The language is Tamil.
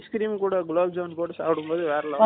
ice cream கூட gulab jamun போட்டு சாப்பிடும் போது வேற level